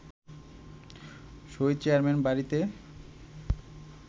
শহীদ chairman বাড়িতে